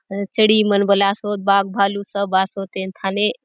अ चड़ई मन बले आसोत बाग भालू सब आसोत ए थाने--